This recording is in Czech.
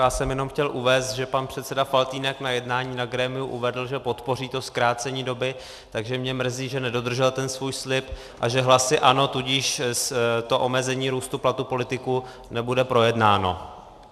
Já jsem jenom chtěl uvést, že pan předseda Faltýnek na jednání na grémiu uvedl, že podpoří to zkrácení doby, takže mě mrzí, že nedodržel ten svůj slib a že hlasy ANO tudíž to omezení růstu platů politiků nebude projednáno.